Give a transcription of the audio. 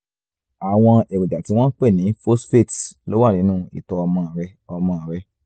àwọn èròjà tí wọ́n ń pè ní phosphates ló wà nínú ìtọ̀ ọmọ rẹ ọmọ rẹ